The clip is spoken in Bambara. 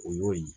O y'o ye